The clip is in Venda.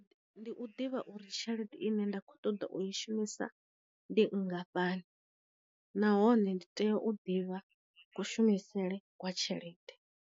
Ndi u ḓivha uri tshelede ine nda kho ṱoḓa u i shumisa ndi nngafhani, nahone ndi tea u ḓivha ku shumisele kwa tshelede.